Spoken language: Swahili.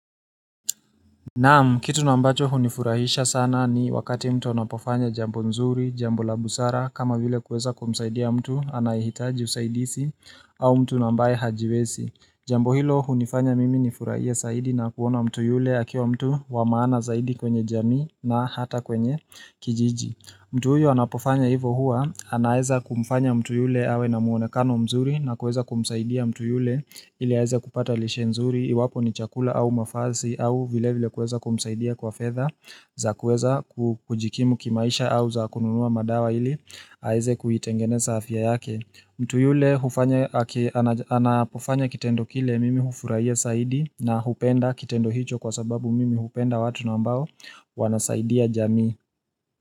Naam, kitu nambacho hunifurahisha sana ni wakati mtu anapofanya jambo mzuri, jambo la busara, kama vile kueza kumsaidia mtu anayihitaji usaidisi au mtu nambaye hajiwesi. Jambo hilo hunifanya mimi nifurahia saidi na kuona mtu yule akiwa mtu wa maana zaidi kwenye jani na hata kwenye kijiji. Mtu huyu anapofanya hivohua, anaeza kumfanya mtu yule awe na muonekano mzuri na kueza kumsaidia mtu yule ili aeza kupata lishenzuri, iwapo ni chakula au mafasi au vile vile kueza kumsaidia kwa fedha za kueza kujikimu kimaisha au za kununua madawa ili aeza kuhitengeneza hafya yake. Mtu yule anapofanya kitendo kile mimi hufurahia saidi na hupenda kitendo hicho kwa sababu mimi hupenda watu nambao wanasaidia jami.